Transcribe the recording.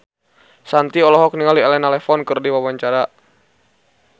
Shanti olohok ningali Elena Levon keur diwawancara